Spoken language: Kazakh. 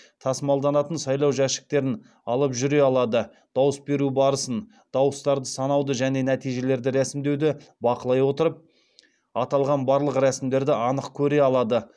тасымалданатын сайлау жәшіктерін алып жүре алады дауыс беру барысын дауыстарды санауды және нәтижелерді ресімдеуді бақылай отырып аталған барлық рәсімдерді анық көре алады